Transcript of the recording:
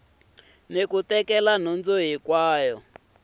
na ku tekela nhundzu hi